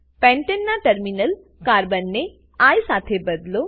પેન્ટેનના terminal carbon ને I સાથે બદલો